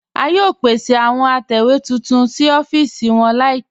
A yóò pèsè àwọn àtẹwe tuntun sí ọ̀fíìsì wọn laípẹ̀.